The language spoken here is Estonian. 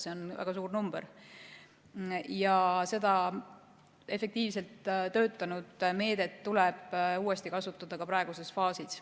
See on väga suur arv ja seda efektiivselt töötanud meedet tuleb uuesti kasutada ka praeguses faasis.